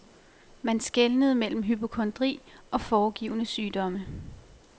Man skelnede mellem hypokondri og foregivne sygdomme.